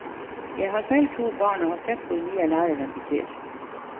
Jeg har selv to barn og har sett hvor mye læreren betyr.